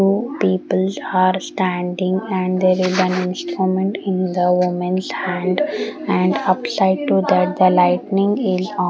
wo people are standing and their an instrument in the women's hand and upside to that the lightning in on.